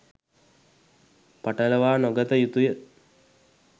පටලවා නොගත යුතුය.